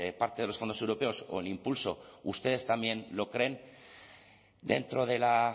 parte de los fondos europeos o el impulso ustedes también lo creen dentro de la